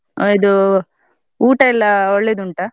ಆ ಇದು ಊಟ ಎಲ್ಲ ಒಳ್ಳೆ ಉಂಟಾ?